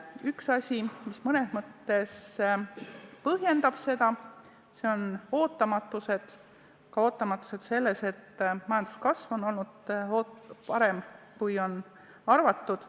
Üks asi, mis mõnes mõttes seda põhjendab, on ootamatus, ootamatus ka selles mõttes, et majanduskasv on olnud parem, kui on arvatud.